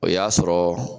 O y'a sɔrɔ